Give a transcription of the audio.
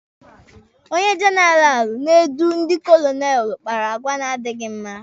Onye jenaralụ na-adọ ndi kolonelụ kpara àgwà na-adịghi mma aka ná ntị.